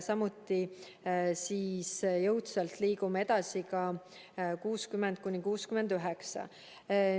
Samuti liigume jõudsalt edasi ka 60–69-aastaste hulgas.